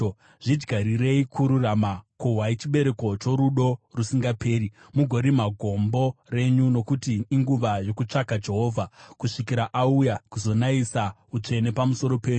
Zvidyarirei kururama, kohwai chibereko chorudo rusingaperi, mugorima gombo renyu; nokuti inguva yokutsvaka Jehovha, kusvikira auya kuzonayisa utsvene pamusoro penyu.